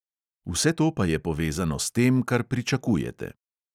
Vse to pa je povezano s tem, kar pričakujete.